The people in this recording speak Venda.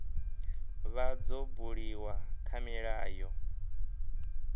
vha dzo buliwa kha milayo